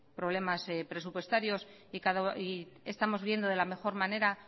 problemas presupuestarios y estamos viendo de la mejor manera